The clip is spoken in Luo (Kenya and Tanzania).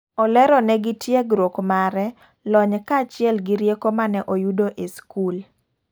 Olero ne gi tiegruok mare ,lony ka achiel gi rieko mane oyudo e skul.